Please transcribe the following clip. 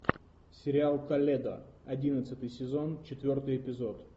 сериал толедо одиннадцатый сезон четвертый эпизод